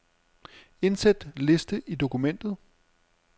Indsæt liste i dokumentet.